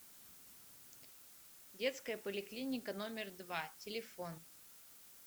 детская поликлиника номер два телефон